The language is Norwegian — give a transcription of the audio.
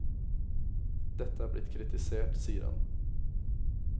Dette er blitt kritisert, sier han.